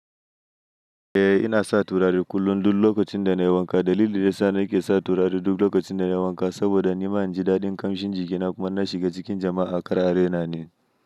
Eh ina sa turare kullum duk lokacin da na yi wanka. Dalilin da yana sa nake sa turare duk lokacin da na yi wanka saboda nima inji daɗin ƙamshin jikina kuma in na shiga cikin jama'a kar a raina ni.